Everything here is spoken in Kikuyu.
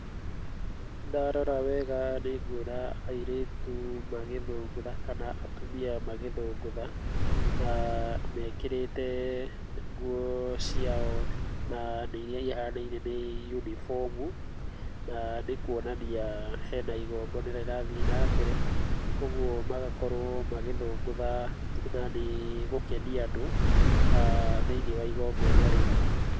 Ndarora wega nĩnguona airĩtu magĩthũngũtha kana atumia magĩthũngũtha. Na mekĩrĩte nguo ciao na nĩiria ihanaine nĩ yunibomu, na nĩ kuonania harĩ na igongona rĩrathi na mbere, ũguo magakorwo magĩthũngũtha na nĩ gũkenia andũ thĩinĩ wa igongona rĩu.